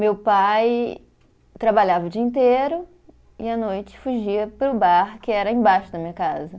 Meu pai trabalhava o dia inteiro e à noite fugia para o bar que era embaixo da minha casa.